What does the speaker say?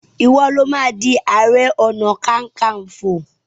iwọ ló má dì aré ọnà kankanfo!